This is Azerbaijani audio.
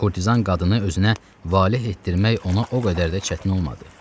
Kurtizanı özünə valeh etdirmək ona o qədər də çətin olmadı.